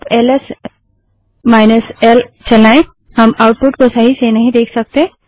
अब L S L चलाएँ हम आउटपुट को सही से नहीं देख सकते